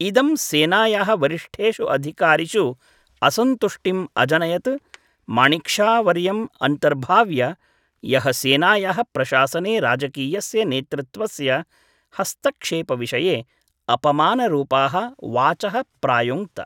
इदं, सेनायाः वरिष्ठेषु अधिकारिषु असन्तुष्टिम् अजनयत्, माणिक् शा वर्यम् अन्तर्भाव्य, यः सेनायाः प्रशासने राजकीयस्य नेतृत्वस्य हस्तक्षेपविषये अपमानरूपाः वाचः प्रायुङ्क्त।